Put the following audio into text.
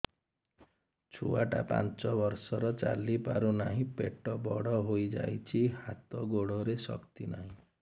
ଛୁଆଟା ପାଞ୍ଚ ବର୍ଷର ଚାଲି ପାରୁ ନାହି ପେଟ ବଡ଼ ହୋଇ ଯାଇଛି ହାତ ଗୋଡ଼ରେ ଶକ୍ତି ନାହିଁ